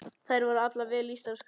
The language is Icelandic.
Þær voru allar vel lýstar og skarpar.